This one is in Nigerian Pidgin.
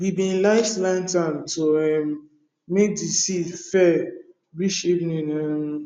we bin light lantern to um make de seed fair reach evening um